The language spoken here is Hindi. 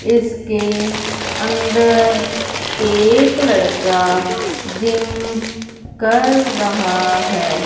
इसके अंदर एक लड़का जिम कर रहा है।